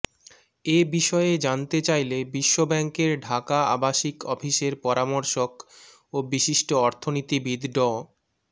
এ বিষয়ে জানতে চাইলে বিশ্বব্যাংকের ঢাকা আবাসিক অফিসের পরামর্শক ও বিশিষ্ট অর্থনীতিবিদ ড